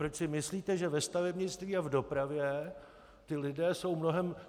Proč si myslíte, že ve stavebnictví a v dopravě ti lidé jsou mnohem...